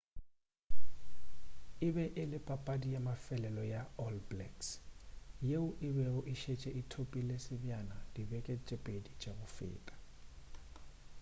e be e le papadi ya mafelelo go all blacks yeo e bego e šetše e thopile sebjana dibeke tše pedi tša go feta